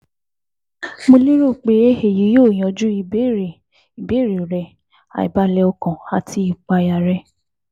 Mo lérò pe eyi yoo yanju ibeere ibeere rẹ, aibalẹ ọkàn ati ìpayà rẹ